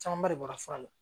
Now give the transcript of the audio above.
Camanba de bɔra fura la